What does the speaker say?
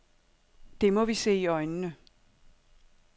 Det må vi se i øjnene.